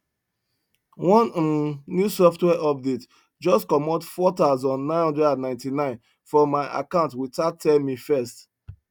one um new software update just comot four thousand nine hundred an ninety nine from my account without tell me first